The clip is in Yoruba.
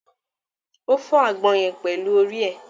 O fọ àgbọn yẹn pẹlú orí ẹ.